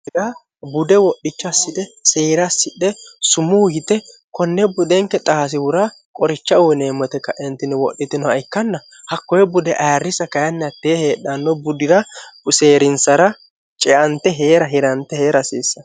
hra bude wodhicha ssithe seera ssidhe sumuu yite konne budenke xaasiwura qoricha uyineemmote ka'entini wodhitinoha ikkanna hakkoye bude ayirrisa kayinniattee heedhanno budira useerinsara ceante hee'ra hirante hee'ra hasiissa